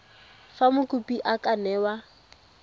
fa mokopi a ka newa